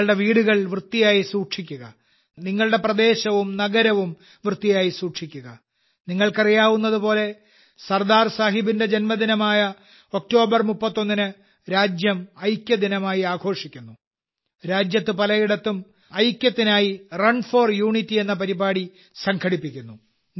നിങ്ങളുടെ വീടുകൾ വൃത്തിയായി സൂക്ഷിക്കുക നിങ്ങളുടെ പ്രദേശവും നഗരവും വൃത്തിയായി സൂക്ഷിക്കുക നിങ്ങൾക്കറിയാവുന്നതുപോലെ സർദാർ സാഹബിന്റെ ജന്മദിനമായ ഒക്ടോബർ 31 ന് രാജ്യം ഐക്യദിനമായി ആഘോഷിക്കുന്നു രാജ്യത്ത് പലയിടത്തും ഐക്യത്തിനായി റൺ ഫോർ യൂണിറ്റി എന്ന പരിപാടി സംഘടിപ്പിക്കുന്നു